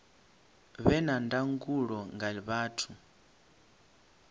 vhe na ndangulo nga vhathu